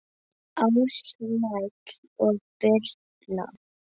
Ársæll og Birna.